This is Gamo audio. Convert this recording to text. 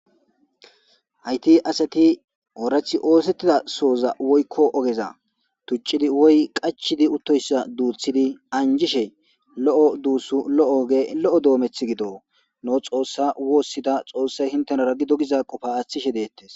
hayti asati oorathi oosettida soza woykko ogeza tuccidi woy qachidi uttoyssa duuthidi anjishe lo7o duussu lo7o oge lo7o doometh gido noo xoossa woossida xoossay hintenara gido giza qofa aashthishe deettes